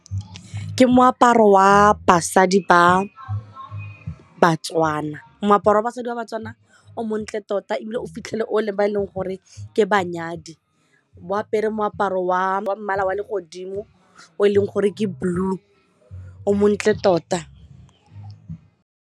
Ke moaparo wa basadi ba Batswana, moaparo wa basadi wa batswana o montle tota ebile o fitlhele o leng ba e leng gore ke banyadi o apere moaparo wa mmala wa legodimo o e leng gore ke blue o montle tota.